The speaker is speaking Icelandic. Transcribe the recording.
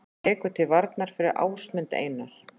Tekur til varna fyrir Ásmund Einar